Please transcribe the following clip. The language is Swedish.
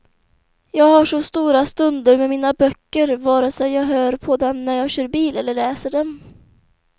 Jag har så stora stunder med mina böcker, vare sig jag hör på dem när jag kör bil eller läser dem.